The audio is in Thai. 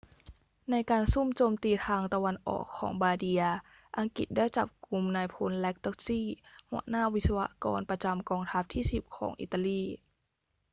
ในการซุ่มโจมตีทางตะวันออกของบาร์เดีย อังกฤษได้จับกุมนายพล lastucci หัวหน้าวิศวกรประจำกองทัพที่ 10 ของอิตาลี